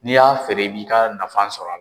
N'i y'a feere i b'i ka nafan sɔrɔ a la.